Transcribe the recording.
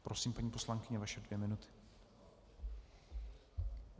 Prosím, paní poslankyně, vaše dvě minuty.